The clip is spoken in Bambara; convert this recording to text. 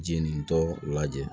Jeninintɔ lajɛ